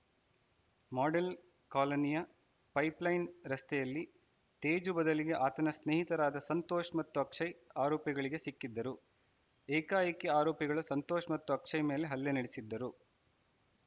model ಕಾಲೋನಿಯ pipeline ರಸ್ತೆಯಲ್ಲಿ ತೇಜು ಬದಲಿಗೆ ಆತನ ಸ್ನೇಹಿತರಾದ ಸಂತೋಷ್‌ ಮತ್ತು ಆಕ್ಷಯ್‌ ಆರೋಪಿಗಳಿಗೆ ಸಿಕ್ಕಿದ್ದರು ಏಕಾಏಕಿ ಆರೋಪಿಗಳು ಸಂತೋಷ್‌ ಮತ್ತು ಅಕ್ಷಯ್‌ ಮೇಲೆ ಹಲ್ಲೆ ನಡೆಸಿದ್ದರು